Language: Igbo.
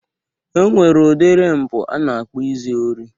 E nwere udiri mpụ a na-akpọ izu ori.